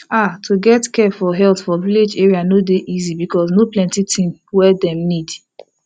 ah to get care for health for village area no dey easy because no plenti thing wey dem need